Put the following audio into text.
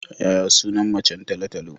Yaya sunan macen talo-talo?